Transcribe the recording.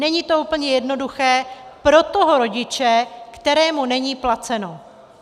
Není to úplně jednoduché pro toho rodiče, kterému není placeno.